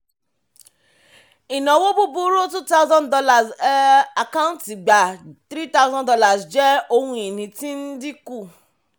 ìnáwó búburú $2000 um àkáǹtí gbà $3000 jẹ́ ohun ìní tí ń dínkù.